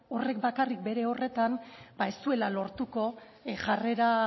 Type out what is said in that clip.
horrek bakarrik bere horretan ez duela lortuko jarrera